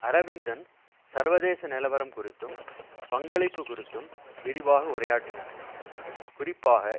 அரவிந்தன் சர்வதேச நிலவரம் குறித்தும் பங்களிப்பு குறித்தும் விரிவாக உரையாற்றினார் குறிப்பாக